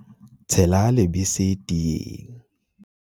tshela lebese teeng